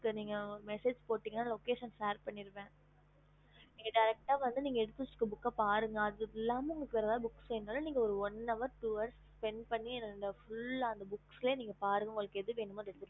ஹம்